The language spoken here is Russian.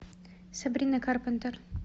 сабрина карпентер